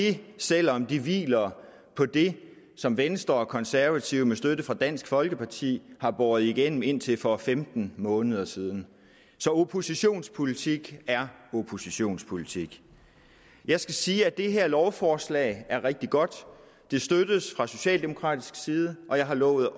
vi selv om det hviler på det som venstre og konservative med støtte fra dansk folkeparti har båret igennem indtil for femten måneder siden så oppositionspolitik er oppositionspolitik jeg skal sige at det her lovforslag er rigtig godt det støttes fra socialdemokratisk side og jeg har lovet